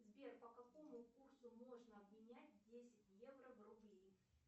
сбер по какому курсу можно обменять десять евро в рубли